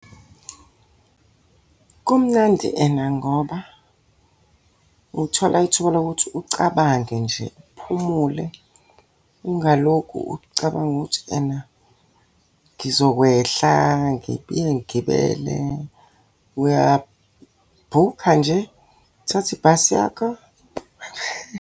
Kumnandi ena ngoba uthola ithuba lokuthi ucabange nje uphumule ungalokhu ucabanga ukuthi ena, ngizokwehla ngiphinde ngigibele. Uyabhukha nje, uthathe ibhasi yakho.